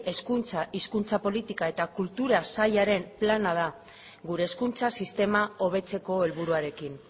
hezkuntza hizkuntza politika eta kultura sailaren plana da gure hezkuntza sistema hobetzeko helburuarekin